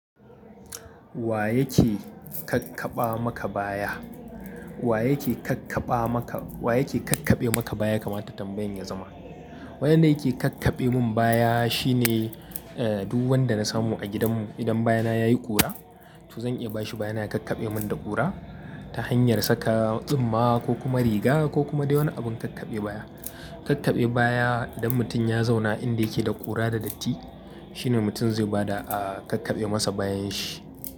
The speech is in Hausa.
Wa yake kakkabamaka baya? Wa yake kakkabamaka, wa yake kakkabe maka baya ya kamata tambayan yazama. Wanda yake kakkabemin baya shine duk wanda nasamu a gidanmu idan bayana yayi kura to zan iya bashi bayana ya kakkabemin da kura. Ta hanyar saka tsumma ko kuma riga ko kuma dai wani abun kakkabe baya. Kakkabe baya idan mutum ya zauna inda yake da ƙura da datti shine mutum zai bada a kakkabe masa bayanshi.